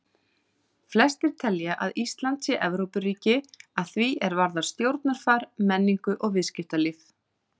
Flestir telja að Ísland sé Evrópuríki að því er varðar stjórnarfar, menningu og viðskiptalíf.